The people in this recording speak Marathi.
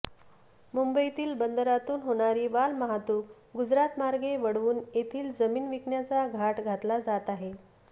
मुंबईतील बंदरातून होणारी मालवाहतूक गुजरातमार्गे वळवून येथील जमीन विकण्याचा घाट घातला जात आहे